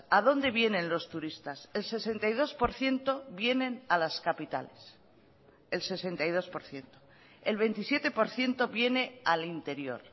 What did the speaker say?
a dónde vienen los turistas el sesenta y dos por ciento vienen a las capitales el sesenta y dos por ciento el veintisiete por ciento viene al interior